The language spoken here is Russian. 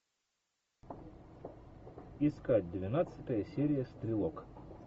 искать двенадцатая серия стрелок